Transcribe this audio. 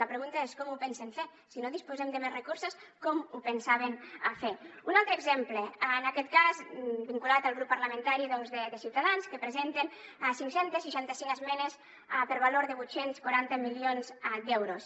la pregunta és com ho pensen fer si no disposem de més recursos com ho pensaven fer un altre exemple en aquest cas vinculat al grup parlamentari doncs de ciutadans que presenten cinc cents i seixanta cinc esmenes per valor de vuit cents i quaranta milions d’euros